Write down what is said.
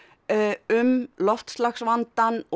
um loftslagsvandann og